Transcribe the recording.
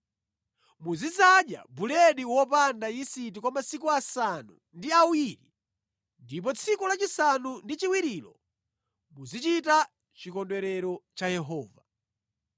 Muzidzadya buledi wopanda yisiti kwa masiku asanu ndi awiri ndipo tsiku lachisanu ndi chiwirilo muzichita chikondwerero cha Yehova.